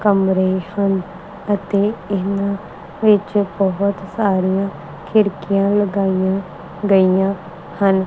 ਕਮਰੇ ਹਨ ਅਤੇ ਇਹਨਾਂ ਵਿੱਚ ਬਹੁਤ ਸਾਰੀਆਂ ਖਿੜਕੀਆਂ ਲਗਾਈਆਂ ਗਈਆਂ ਹਨ।